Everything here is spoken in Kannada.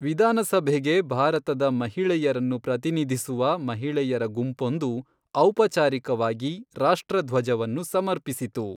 ವಿಧಾನಸಭೆಗೆ ಭಾರತದ ಮಹಿಳೆಯರನ್ನು ಪ್ರತಿನಿಧಿಸುವ ಮಹಿಳೆಯರ ಗುಂಪೊಂದು ಔಪಚಾರಿಕವಾಗಿ ರಾಷ್ಟ್ರಧ್ವಜವನ್ನು ಸಮರ್ಪಿಸಿತು.